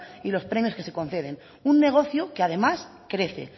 y los premios que se conceden un negocio que además crece